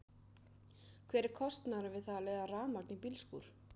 Hver er kostnaðurinn við það að leiða rafmagn í bílskúr?